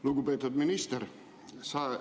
Lugupeetud minister!